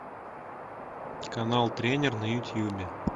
канал тренер на ютубе